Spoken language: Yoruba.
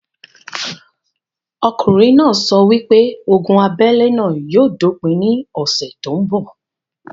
Okùnrin náà sọ wípé ogun abélé náà yóò dópin ní ọ̀sẹ̀ tó ń bọ̀